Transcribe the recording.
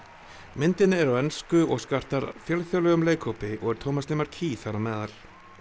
myndin er á ensku og skartar fjölþjóðlegum leikhópi og er Tómas þar á meðal